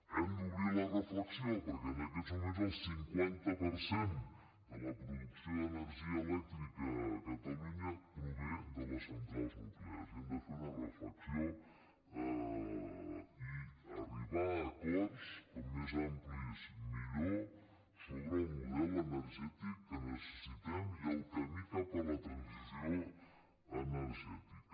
hem d’obrir la reflexió perquè en aquests moments el cinquanta per cent de la producció d’energia elèctrica a catalu·nya prové de les centrals nuclears i hem de fer una re·flexió i arribar a acords com més amplis millor sobre el model energètic que necessitem i el camí cap a la transició energètica